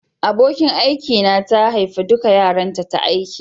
Abokin aiki na ta haifa dukan yaranta ta aiki.